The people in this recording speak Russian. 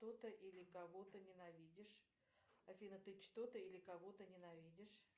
кто то или кого то ненавидишь афина ты что то или кого то ненавидишь